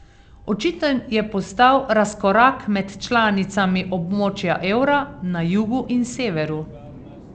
Očiten je postal razkorak med članicami območja evra na jugu in severu.